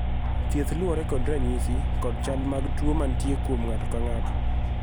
thieth luwore kod ranyisi kod chal mag tuo manitie kuom ng'ato ka ng'ato